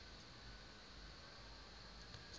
metsotso